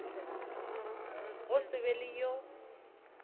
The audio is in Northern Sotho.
go se be le yo